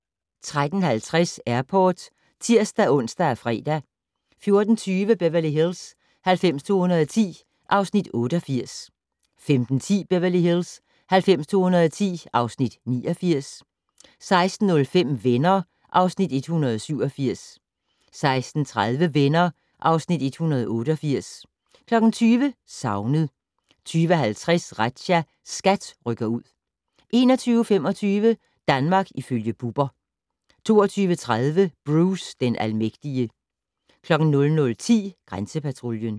13:50: Airport (tir-ons og fre) 14:20: Beverly Hills 90210 (Afs. 88) 15:10: Beverly Hills 90210 (Afs. 89) 16:05: Venner (Afs. 187) 16:30: Venner (Afs. 188) 20:00: Savnet 20:50: Razzia - SKAT rykker ud 21:25: Danmark ifølge Bubber 22:30: Bruce den almægtige 00:10: Grænsepatruljen